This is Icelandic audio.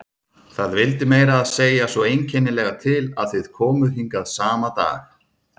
Það vildi meira að segja svo einkennilega til að þið komuð hingað sama dag.